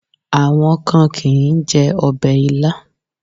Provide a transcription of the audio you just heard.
Àwọn kan kì ń jẹ ọbẹ̀ Ilá.